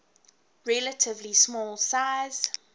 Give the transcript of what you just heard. relatively small size